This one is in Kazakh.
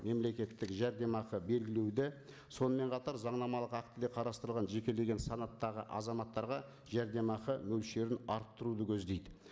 мемлекеттік жәрдемақы белгілеуді сонымен қатар заңнамалық актіде қарастырылған жекелеген санаттағы азаматтарға жәрдемақы мөлшерін арттыруды көздейді